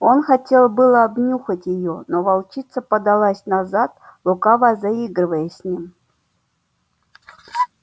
он хотел было обнюхать её но волчица подалась назад лукаво заигрывая с ним